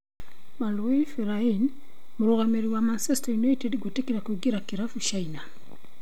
Marouane Fellaini: Mũrũgamĩrĩri wa Manchester United gwĩtĩkĩra kũingĩra kirafu China